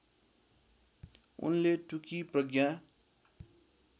उनले टुकी प्रज्ञा